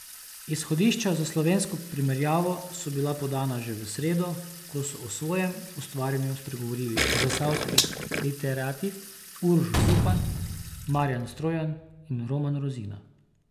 Izhodišča za slovensko primerjavo so bila podana že v sredo, ko so o svojem ustvarjanju spregovorili zasavski literati Uroš Zupan, Marjan Strojan in Roman Rozina.